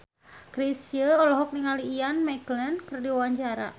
Chrisye olohok ningali Ian McKellen keur diwawancara